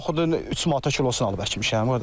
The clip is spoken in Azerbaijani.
Noxudun 3 manata kilosun alıb əkmişəm qardaşım.